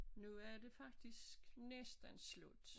Nu er det faktisk næsten slut